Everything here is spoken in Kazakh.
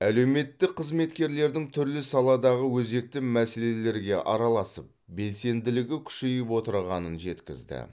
әлеуметтік қызметкерлердің түрлі саладағы өзекті мәселелерге араласып белсенділігі күшейіп отырғанын жеткізді